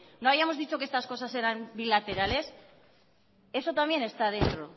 no habíamos dicho que estas cosas eran bilaterales eso también está dentro